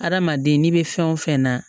Adamaden n'i bɛ fɛn o fɛn na